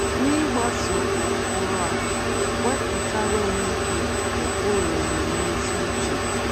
N'ịgbaso ụkpụrụ a,wepụtara onwe gị ụkpụrụ omume ezi uche.